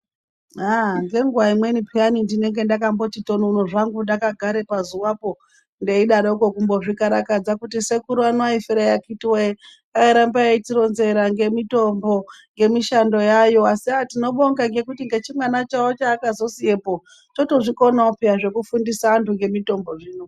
Aha ngenguwa imweni peyani ndinenge ndakati tonono hangu ndakagara pazuwapo ndeiraroko kumbozvikarakadza kuti sekuru aya aifirei akiti woye airamba achitironzera ngemitombo yemishando yayo asi tinobonga ngekuti nechimwana chawo chavakazosiyapo chotozvikonawo peya zvekufundisa antu zvemitombo zvino.